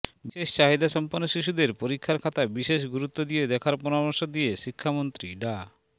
বিশেষ চাহিদাসম্পন্ন শিশুদের পরীক্ষার খাতা বিশেষ গুরুত্ব দিয়ে দেখার পরামর্শ দিয়ে শিক্ষামন্ত্রী ডা